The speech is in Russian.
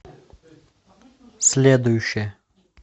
следующая